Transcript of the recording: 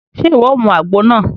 Ṣe iwọ o mú àgbo náà?